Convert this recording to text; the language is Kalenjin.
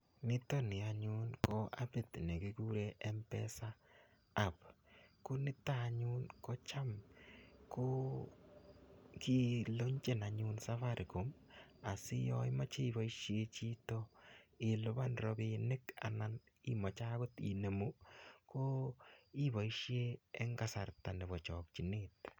nitoni anyun ko appit nekikure mpesa app ko kilonchen safaricom asi yaemeche iboishie chito inemunee robinik iboishie eng kasarta ne bo chokchinet